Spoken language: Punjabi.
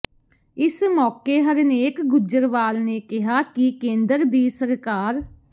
ਇਸ ਮੌਕੇ ਹਰਨੇਕ ਗੁੱਜਰਵਾਲ ਨੇ ਕਿਹਾ ਕਿ ਕੇਂਦਰ ਦੀ ਸਰਕਾਰ